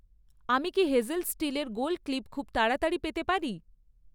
আমি কি হেজেল স্টিলের গোল ক্লিপ খুব তাড়াতাড়ি পেতে পারি?